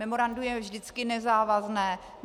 Memorandum je vždycky nezávazné.